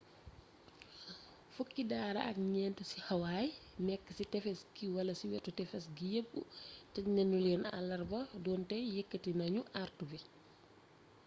fukki daara ak ñeent ci hawaii nekk ci tefes gi wala ci wetu tefes gi yépp tëjnanuleen allarba donte yeketi nañu artu yi